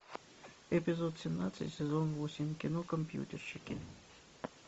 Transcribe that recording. эпизод семнадцать сезон восемь кино компьютерщики